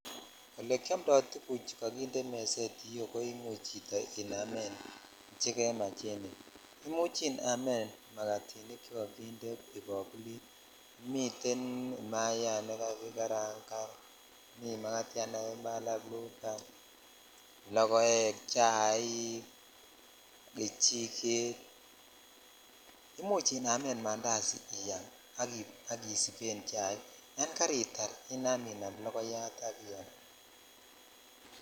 Olekiomtoi tuguchu kokinde meset yuu ko imuch chito inamen chekemach en yuu imuch inamen magatik chekokinde kibakulit miten imayat ne kakikarangan mii megatyat nekakimale ak bluban, lokoek chaik ,kak isiven chaik yan kechiget imuch inamen bandazi iyam ak isiben chaik yan karutar inam inam lokoyat ak iyam.